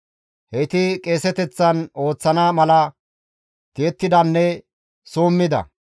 Heyti qeeseteththan ooththana mala tiyettidanne summida.